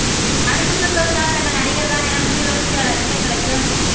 அடுத்த super star தங்கள் நடிகர்தான் என கூறிவரும் சில ரசிகர்களுக்கு